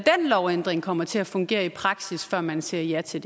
lovændring kommer til at fungere i praksis før man siger ja til